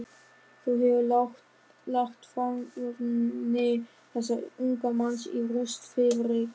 Þú hefur lagt framavonir þessa unga manns í rúst, Friðrik.